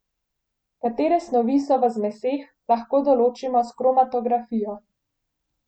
Katere snovi so v zmeseh, lahko določimo s kromatografijo.